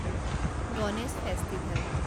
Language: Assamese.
গণেশ ফেষ্টিভেল